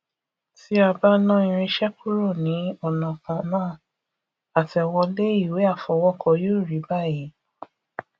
tí a bá ná irinṣẹ kúrò ní ọnà kan náà àtẹwolé ìwé àfọwọkọ yóò rí báyìí